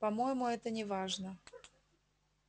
по-моему это неважно